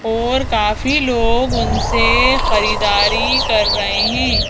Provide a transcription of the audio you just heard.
और काफी लोग उनसे खरीदारी कर रहे हैं।